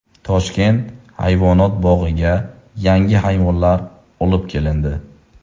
Toshkent hayvonot bog‘iga yangi hayvonlar olib kelindi .